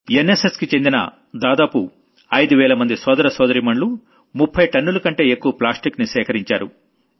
NSSకి చెందిన దాదాపు 5000 మంది సోదర సోదరీమణులు 30 టన్నులకంటే ఎక్కువ ప్లాస్టిక్ ని సేకరించారు